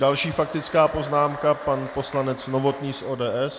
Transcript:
Další faktická poznámka, pan poslanec Novotný z ODS.